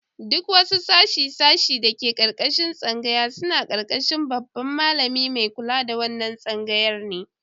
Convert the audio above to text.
Duk wasu sashe-sashe da ke karkashin tsangaya suna karkashin Babban Mallami Mai kula da wannan tsangayar ne